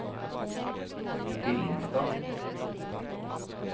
Billingstad